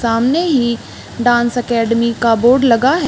सामने ही dance academy का बोर्ड लगा हैं।